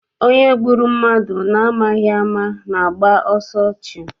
Onye gburu mmadụ na amaghị ama ga- agba ọsọ ọchụ.